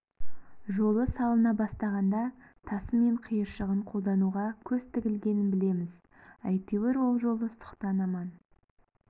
жолы салына бастағанда тасы мен қиыршығын қолдануға көз тігілгенін білеміз әйтеуір ол жолы сұқтан аман